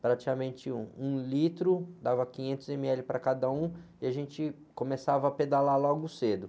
Praticamente um litro, dava quinhentos ême-éle para cada um e a gente começava a pedalar logo cedo.